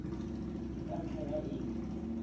ke ka ntlha ya eng